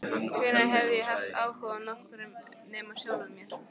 Hvenær hafði ég haft áhuga á nokkrum nema sjálfum mér?